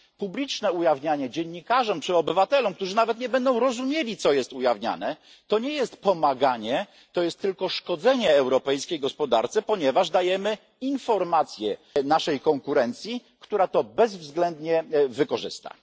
Publiczne ujawnianie dziennikarzom czy obywatelom, którzy nawet nie będą rozumieli, co jest ujawniane, to nie jest pomaganie, to jest tylko szkodzenie europejskiej gospodarce, ponieważ dajemy informacje naszej konkurencji, która to bezwzględnie wykorzysta.